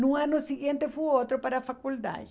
No ano seguinte, foi outro para a faculdade.